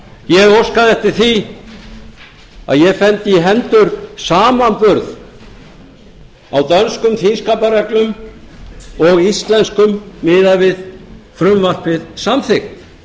ég óskaði eftir því að ég fengi í hendur samanburð á dönskum þingskapareglum og íslenskum miðað við frumvarpið samþykkt